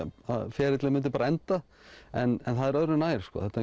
ferillinn myndi bara enda en það er öðru nær þetta